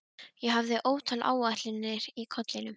Ég hafði ótal áætlanir í kollinum.